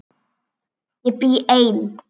Ég bý ein.